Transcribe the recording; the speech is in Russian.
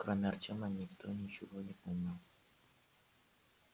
кроме артема никто ничего не помнил